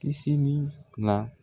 Kisini la